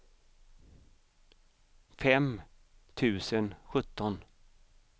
fem tusen sjutton